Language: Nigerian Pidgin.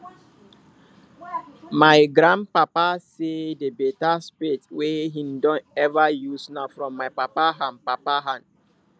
my grand papa say the beta spade wey him don ever use na from my papa hand papa hand